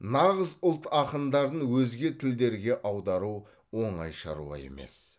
нағыз ұлт ақындарын өзге тілдерге аудару оңай шаруа емес